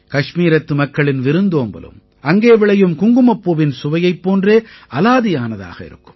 கஷ்மீரத்து மக்களின் விருந்தோம்பலும் அங்கே விளையும் குங்குமப்பூவின் சுவையைப் போன்றே அலாதியானதாக இருக்கும்